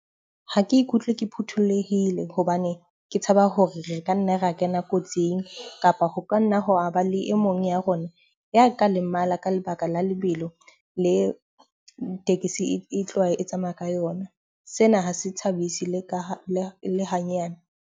Ha ke ikutlwe ke phuthulohile hobane ke tshaba hore re ka nna ra kena kotsing kapa ho ka nna ho a ba le e mong ya rona ya ka lemala ka lebaka la lebelo le tekesi e tloha e tsamaya ka yona. Sena ha se thabise le ka le ha nyane.